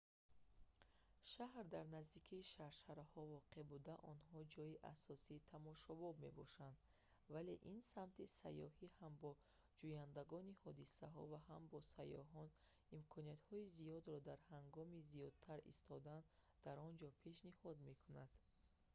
шаҳр дар наздикии шаршараҳо воқеъ буда онҳо ҷойи асосии тамошобоб мебошанд вале ин самти сайёҳӣ ҳам ба ҷӯяндагони ҳодисаҳо ва ҳам ба сайёҳон имкониятҳои зиёдро ҳангоми зиёдтар истодан дар он ҷо пешниҳод мекунад